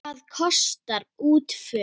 Hvað kostar útför?